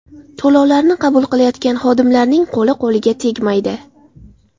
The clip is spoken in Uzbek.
To‘lovlarni qabul qilayotgan xodimlarning qo‘li-qo‘liga tegmaydi.